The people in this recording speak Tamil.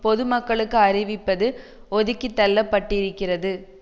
பொதுமக்களுக்கு அறிவிப்பது ஒதுக்கி தள்ளப்பட்டிருக்கிறது